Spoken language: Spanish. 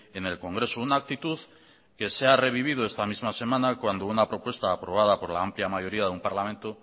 en el congreso una actitud que se ha revivido esta misma semana cuando una propuesta aprobada por la amplia mayoría de un parlamento